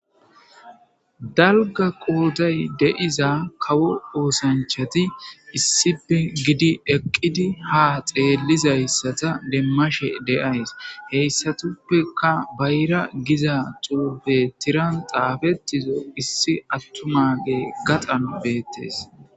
dalga qooday deiza kawo oosanchati issipe gidi eqqidi ha xeellizayssata demmashe deays heyssatuppeka bayra giza tupe tiran xaafetizo issi attumage gaxan beettes